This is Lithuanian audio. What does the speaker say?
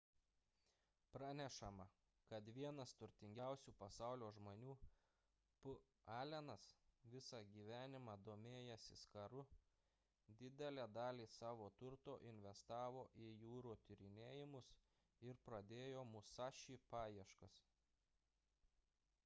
pranešama kad vienas turtingiausių pasaulio žmonių p allenas visą gyvenimą domėjęsis karu didelę dalį savo turto investavo į jūrų tyrinėjimus ir pradėjo musashi paieškas